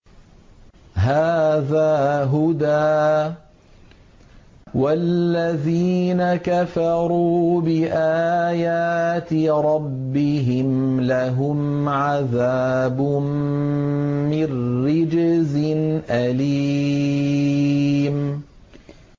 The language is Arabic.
هَٰذَا هُدًى ۖ وَالَّذِينَ كَفَرُوا بِآيَاتِ رَبِّهِمْ لَهُمْ عَذَابٌ مِّن رِّجْزٍ أَلِيمٌ